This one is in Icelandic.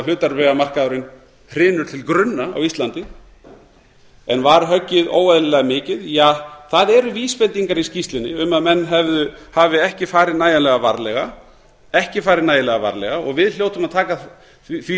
hlutabréfamarkaðurinn hrynur til grunna á íslandi en var höggið óeðlilega mikið ja það eru vísbendingar í skýrslunni um að menn hafi ekki farið nægjanlega varlega ekki varið nægjanlega varlega við hljótum að taka því